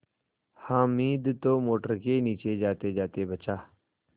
हामिद तो मोटर के नीचे जातेजाते बचा